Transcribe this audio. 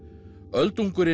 öldungurinn